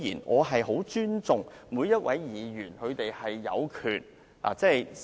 我很尊重每一位議員的權利。